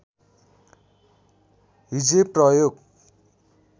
हिज्जे प्रयोग